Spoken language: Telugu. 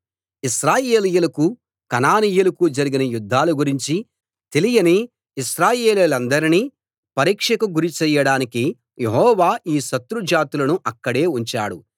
ఇశ్రాయేలీయులకు కనానీయులకు జరిగిన యుద్ధాల గురించి తెలియని ఇశ్రాయేల్వాళ్ళందరినీ పరీక్షకు గురి చెయ్యడానికి యెహోవా ఈ శత్రు జాతులను అక్కడే ఉంచాడు